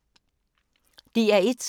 DR1